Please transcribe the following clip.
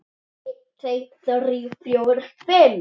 einn. tveir. þrír. fjórir. fimm.